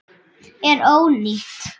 Þetta er ónýtt.